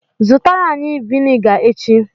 Zụtara anyi viniga echi!